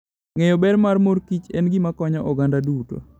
Ng'eyo ber mar mor kich en gima konyo oganda duto.